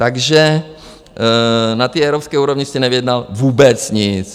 Takže na té evropské úrovni jste nevyjednal vůbec nic.